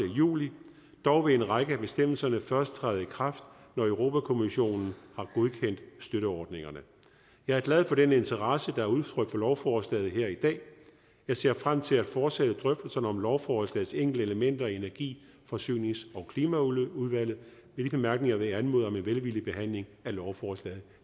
juli dog vil en række af bestemmelserne først træde i kraft når europa kommissionen har godkendt støtteordningerne jeg er glad for den interesse der er udtrykt for lovforslaget her i dag og jeg ser frem til at fortsætte drøftelserne om lovforslagets enkelte elementer i energi forsynings og klimaudvalget med de bemærkninger vil jeg anmode om en velvillig behandling af lovforslaget